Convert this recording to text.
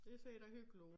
Det ser da hyggeligt ud